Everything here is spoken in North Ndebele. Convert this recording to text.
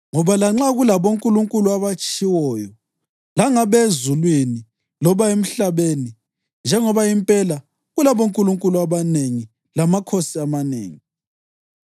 Ngoba lanxa kulabonkulunkulu abatshiwoyo, langabe ezulwini loba emhlabeni (njengoba impela kulabonkulunkulu abanengi lamakhosi amanengi),